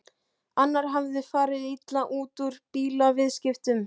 Annar hafði farið illa út úr bílaviðskiptum.